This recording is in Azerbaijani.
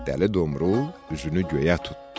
Dəli Domrul üzünü göyə tutdu.